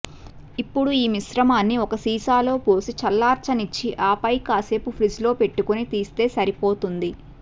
ఇప్పుడు ఈ మిశ్రమాన్ని ఒక సీసాలో పోసి చల్లారనిచ్చి ఆపై కాసేపు ఫ్రిజ్లో పెట్టుకొని తీస్తే సరిపోతుంది